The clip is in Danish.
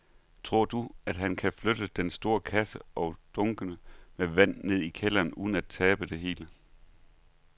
Tror du, at han kan flytte den store kasse og dunkene med vand ned i kælderen uden at tabe det hele?